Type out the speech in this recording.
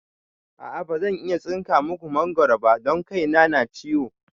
A'a bazan iya tsinka maku mangoro ba don kai na na ciwo